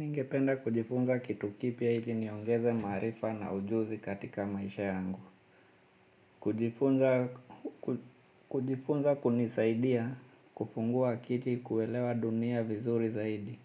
Ningependa kujifunza kitu kipya ili niongeze maarifa na ujuzi katika maisha yangu. Kujifunza kunisaidia kufungua kiti kuelewa dunia vizuri zaidi